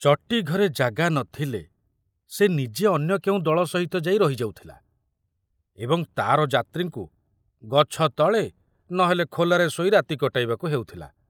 ଚଟି ଘରେ ଜାଗା ନଥିଲେ ସେ ନିଜେ ଅନ୍ୟ କେଉଁ ଦଳ ସହିତ ଯାଇ ରହି ଯାଉଥିଲା ଏବଂ ତାର ଯାତ୍ରୀଙ୍କୁ ଗଛ ତଳେ ନ ହେଲେ ଖୋଲାରେ ଶୋଇ ରାତି କଟାଇବାକୁ ହେଉଥିଲା।